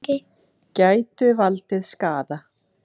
Gætu valdið skaða.